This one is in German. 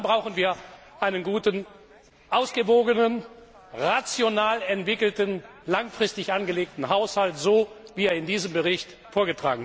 helfen! Aber dann brauchen wir einen guten, ausgewogenen, rational entwickelten, langfristig angelegten Haushalt, so wie er in diesem Bericht vorgetragen ist.